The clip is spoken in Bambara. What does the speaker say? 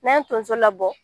N'an ye tunso labɔ